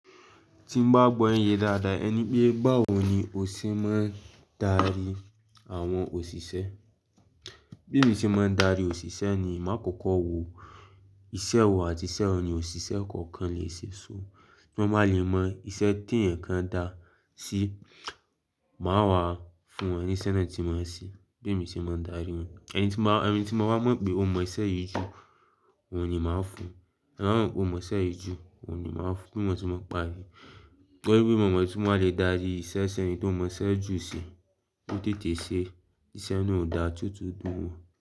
Ti mo bá gbọ́ ẹ́ ń yé dáadáa, ẹ ní pé báwo ni o ṣe máa ń darí àwọn òṣìṣẹ́? Bí mo ṣe máa ń darí òṣìṣẹ́ ni, màá kọ́kọ́ wo iṣẹ́ wo àti iṣẹ́ wọ ni òṣìṣẹ́ kọ̀ọ̀kan lè ṣe. So bí wọ́n bá lè mọ iṣẹ́ tí ẹ̀eyan kan dá sí, màá wá fún ẹni tí iṣẹ́ náà ti máa ṣe. Be mi ṣe máa ń darí wọn. Ẹni tí máa, ẹni tí mo bá mọ̀ pé ó mọ iṣẹ́ yìí jù, òun ni màá fún un. Ẹni tí mo mọ̀ pé ó mọ iṣẹ́ yìí jù, òun ni màá fún un. Bí mo ṣe máa ń pare. Torí bí mo mọ̀ ẹni tí wọn lè darí iṣẹ́ ṣe ni tó mọ iṣẹ́ jù sí, tó tètè ṣe, iṣẹ́ náà ó da tuntun dúmọ.